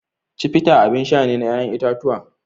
Chivita abin sha ne na ƴaƴan itatuwa.